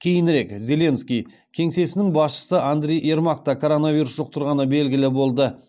кейінірек зеленский кеңсесінің басшысы андрей ермак та коронавирус жұқтырғаны белгілі болды